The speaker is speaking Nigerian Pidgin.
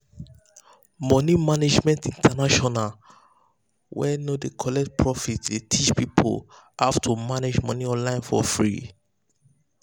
money management international wey no dey collect profit dey teach people how to manage money online for free.